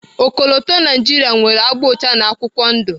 Ọkọlọtọ Naijiria nwere agba ụcha na akwụkwọ ndụ.